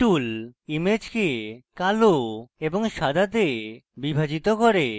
এটি tool ইমেজকে কালো এবং সাদাতে বিভাজিত করে